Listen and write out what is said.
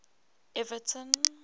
everton